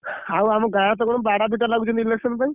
ଆଉ ଆମ ଗାଁରେ ତ କଣ ବାଡ଼ାପିଟା ଲାଗୁଛନ୍ତି election ପାଇଁ।